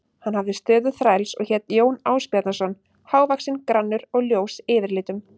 Hann hafði stöðu þræls og hét Jón Ásbjarnarson, hávaxinn, grannur og ljós yfirlitum.